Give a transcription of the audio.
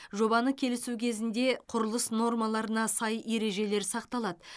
жобаны келісу кезінде құрылыс нормаларына сай ережелер сақталады